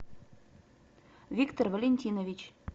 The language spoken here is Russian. виктор валентинович